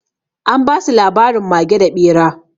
An ba su labarin mage da ɓera.